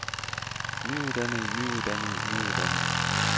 nyuddannede nyuddannede nyuddannede